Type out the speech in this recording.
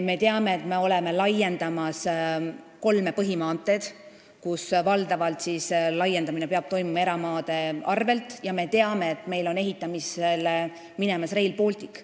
Samuti teame, et me laiendame kolme põhimaanteed, kus valdavalt peab laiendamine toimuma eramaade arvel, ka teame, et me hakkame ehitama Rail Balticut.